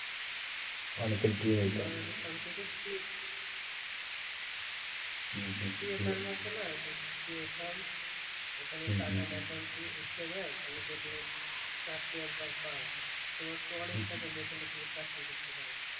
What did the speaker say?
তোমার তো অনেক টাকা বেতনে তুমি চাকরি করতে পারো?